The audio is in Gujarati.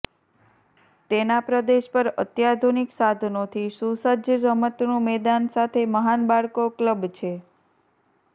તેના પ્રદેશ પર અત્યાધુનિક સાધનોથી સુસજ્જ રમતનું મેદાન સાથે મહાન બાળકો ક્લબ છે